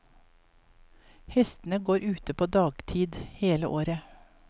Hestene går ute på dagtid hele året.